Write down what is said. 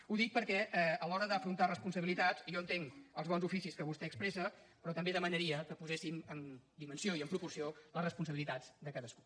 ho dic perquè a l’hora d’afrontar responsabilitats jo entenc els bons oficis que vostè expressa però també demanaria que poséssim en dimensió i en proporció les responsabilitats de cadascú